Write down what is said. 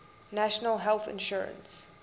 national health insurance